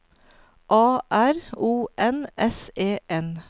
A R O N S E N